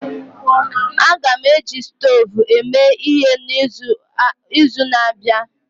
Aga m eji stovu eme ihe n'izu na-abịa